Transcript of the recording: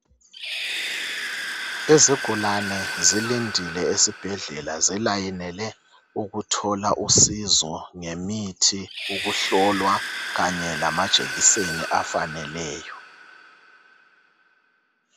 Izigulani zilayinile esibhedlela zimelele ukuthola usizo lemithi ukuhlolwa kanye lamajekiseni afaneleyo